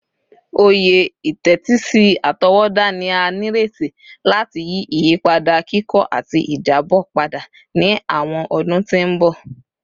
Oye itetisi atọwọda ni a nireti lati yi iyipada kikọ ati ijabọ pada ni awọn ọdun ti n bọ